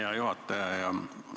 Hea juhataja!